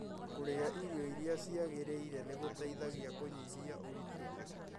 Kũrĩa irio irĩa ciagĩrĩire nĩgũteithagia kũnyihia ũritũ